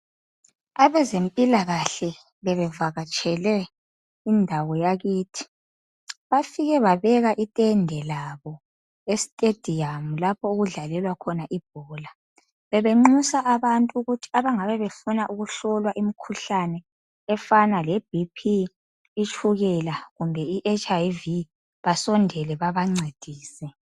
Abezempilakahle bebevakatshele indawo yakithi, bafike babeka itende labo estadium lapho okudlalelwa khona ibhola. Bebenxusa abantu ukuthi abangabe befuna ukuhlola imikhuhlane efana leBP, itshukela kumbe iHIV basondele babancedise